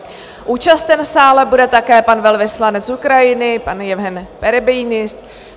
Účasten v sále bude také pan velvyslanec Ukrajiny, pan Jevhen Perebyjnis.